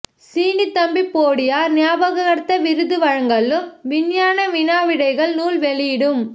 சீனித்தம்பி போடியார் ஞாபகர்த்த விருது வழங்கலும் விஞ்ஞான வினாவிடைகள் நூல் வெளியீடும்